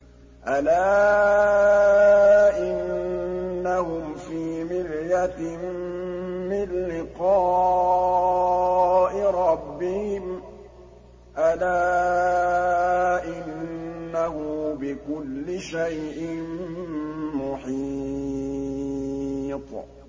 أَلَا إِنَّهُمْ فِي مِرْيَةٍ مِّن لِّقَاءِ رَبِّهِمْ ۗ أَلَا إِنَّهُ بِكُلِّ شَيْءٍ مُّحِيطٌ